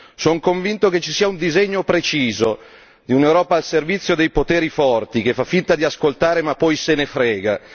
Son convinto che ci sia un disegno preciso, di un'Europa al servizio dei poteri forti, che fa finta di ascoltare ma poi se ne frega!